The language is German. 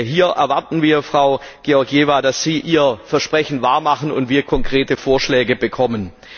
Hier erwarten wir, Frau Georgieva, dass Sie ihr Versprechen wahr machen und wir konkrete Vorschläge bekommen.